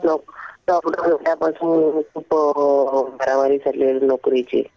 Lockdown पासून खूप मारामारी चाललीये नोकरीची.